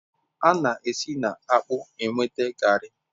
A na-esi na akpu nweta Garri